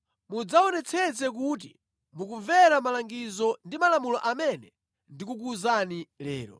mudzaonetsetse kuti mukumvera malangizo ndi malamulo amene ndikukuwuzani lero.